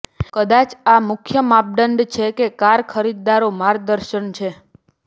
કદાચ આ મુખ્ય માપદંડ છે કે કાર ખરીદદારો માર્ગદર્શન છે